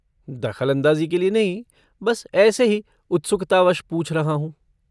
दख़लअंदाज़ी के लिए नहीं बस ऐसे ही उत्सुकतावश पूछ रहा हूँ।